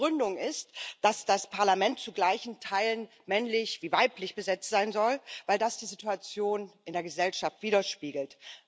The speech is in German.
Die Begründung ist, dass das Parlament zu gleichen Teilen männlich wie weiblich besetzt sein soll, weil das die Situation in der Gesellschaft widerspiegelt.